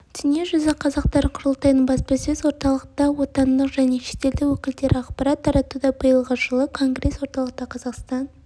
дүниежүзі қазақтары құрылтайының баспасөз орталығында отандық және шетелдік өкілдері ақпарат таратуда биылғы жылы конгресс орталықта қазақстан